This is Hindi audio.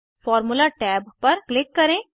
फार्मूला टैब पर क्लिक करें